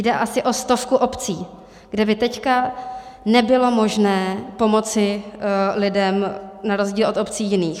Jde asi o stovku obcí, kde by teď nebylo možné pomoci lidem na rozdíl od obcí jiných.